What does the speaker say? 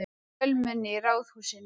Fjölmenni í Ráðhúsinu